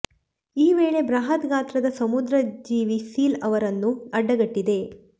ಈ ವೇಳೆ ಬೃಹತ್ ಗಾತ್ರದ ಸಮುದ್ರ ಜೀವಿ ಸೀಲ್ ಅವರನ್ನು ಅಡ್ಡಗಟ್ಟಿದೆ